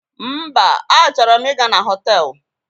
Mba, achoro m ị ga na họtelu